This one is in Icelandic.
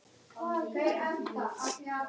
Margra alda máum út hljóm?